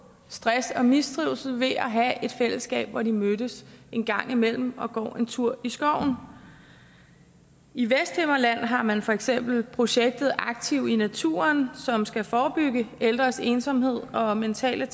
stress og mistrivsel ved at have et fællesskab hvor de mødes en gang imellem og går en tur i skoven i vesthimmerland har man for eksempel projektet aktiv i naturen som skal forebygge ældres ensomhed og mentale